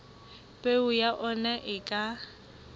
peo ya ona e ka